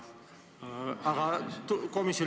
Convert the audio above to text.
Aivar Kokk.